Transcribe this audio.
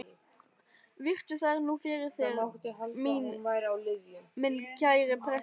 Virtu þær nú fyrir þér, minn kæri prestur.